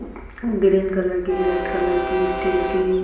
green colour की red colour की steel की--